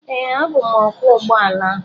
Ee, abụ m ọkwọ ụgbọ ala.